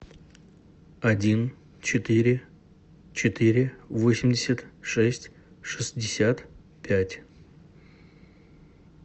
один четыре четыре восемьдесят шесть шестьдесят пять